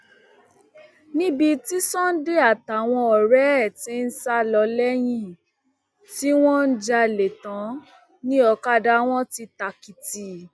níbi tí sunday àtàwọn ọrẹ ẹ ti ń sá lọ lẹyìn tí wọn jalè tán ni ọkadà wọn ti tàkìtì